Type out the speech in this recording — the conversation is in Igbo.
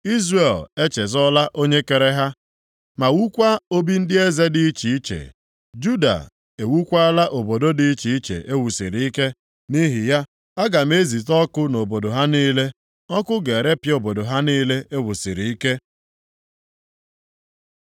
Izrel echezọọla Onye kere ha ma wukwaa obi ndị eze dị iche iche. Juda ewukwaala obodo dị iche iche e wusiri ike. Nʼihi ya, aga m ezite ọkụ nʼobodo ha niile, ọkụ ga-erepịa obodo ha niile e wusiri ike.”